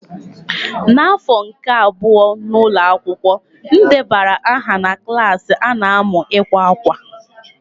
N'afọ nke abụọ n'ụlọ akwụkwọ, m debara aha na klas a na-amu ịkwa akwa.